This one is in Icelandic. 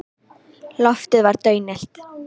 Loftið var daunillt.